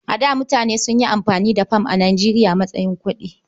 A da mutane sun yi amfani da fam a Nijeriya a matsayin kuɗi.